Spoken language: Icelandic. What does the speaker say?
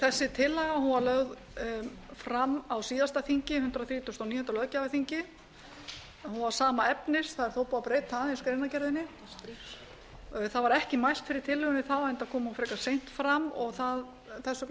þessi tillaga var lög fram á síðasta þingi hundrað þrítugasta og níunda löggjafarþingi var sama efnis það er þó búið að breyta aðeins greinargerðinni það var ekki mælt fyrir tillögunni þá enda kom hún frekar seint fram og þess vegna fór